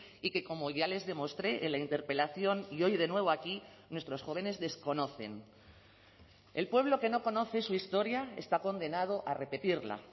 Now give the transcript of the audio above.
y que como ya les demostré en la interpelación y hoy de nuevo aquí nuestros jóvenes desconocen el pueblo que no conoce su historia está condenado a repetirla